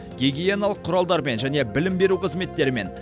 гигиеналық құралдармен және білім беру қызметтеріме